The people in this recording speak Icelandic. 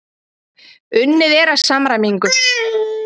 Unnið er að samræmingu.